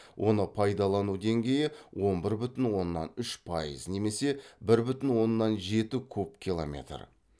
оны пайдалану деңгейі он бір бүтін оннан үш пайыз немесе бір бүтін оннан жеті куб километр